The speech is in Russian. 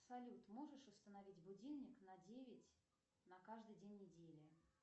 салют можешь установить будильник на девять на каждый день недели